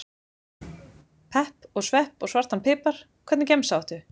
Pepp og svepp og svartan pipar Hvernig gemsa áttu?